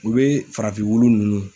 U bɛ farafin wulu ninnu